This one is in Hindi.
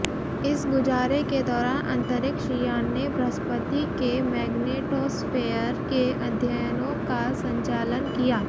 इस गुजारें के दौरान अंतरिक्ष यान ने बृहस्पति के मेग्नेटोस्फेयर के अध्ययनों का संचालन किया